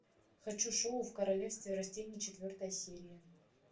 хочу шоу в королевстве растений четвертая серия